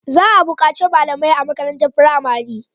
Za a bukaci malamai a makarantar firamare